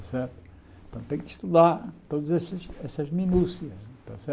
Certo então tem que estudar todas esses essas minúcias,